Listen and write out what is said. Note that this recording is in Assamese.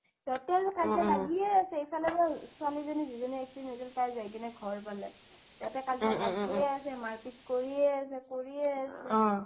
তাতে আৰু কাজিয়া লাগিয়েই আছে এফালে মানে ছোৱালি জনী যিজনীৰ accident হৈছিল তাই যাই কিনে ঘৰ পালে তাতে কাজিয়া লাগিয়েই আছে মাৰ পিত কৰিয়েই আছে কৰিয়েই আছে